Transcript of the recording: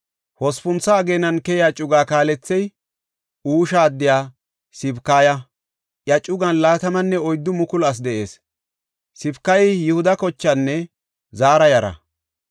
Hospuntha ageenan keyiya cuga kaalethey Husha addiya Sibakaya; iya cugan 24,000 asi de7ees. Sibakayi Yihuda kochenne Zaara yara.